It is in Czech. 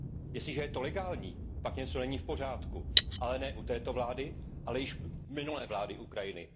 Jestliže je to legální, pak něco není v pořádku, ale ne u této vlády, ale již u minulé vlády Ukrajiny.